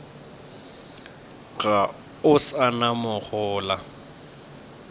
ga o sa na mohola